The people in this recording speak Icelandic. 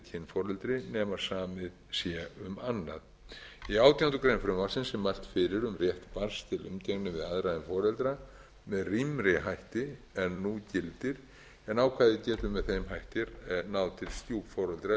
samið sé um annað í átjándu grein frumvarpsins er mælt fyrir um rétt barns til umgengni við aðra en foreldra með rýmri hætti en nú gildir en ákvæðið getur með þeim hætti náð til stjúpforeldra ef við